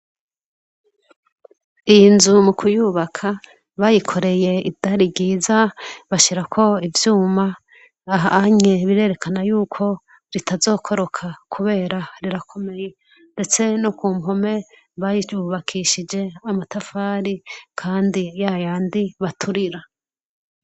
Iyi nzu mu kuyubaka, bayikoreye idari ryiza bashira ko ivyuma aha anye birerekana yuko ritazokoroka kubera rirakomeye ,ndetse no ku mpome bayiyubakishije amatafari kandi yayandi baturira.